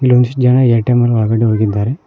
ಒಂದಿಷ್ಟ್ ಜನ ಏ_ಟಿ_ಎಂ ನಲ್ಲಿ ಒಳ್ಗಡೆ ಹೋಗಿದ್ದಾರೆ.